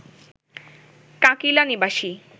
কাঁকিল্যা নিবাসী